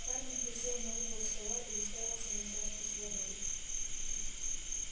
хардин присел на угол стола и уставился на чашку с водой